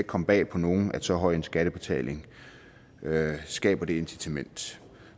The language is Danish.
komme bag på nogen at så høj en skattebetaling skaber det incitament